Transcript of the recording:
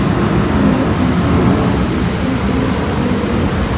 बहुत सारा इंसान लोग भी दिखाई दे रहा है।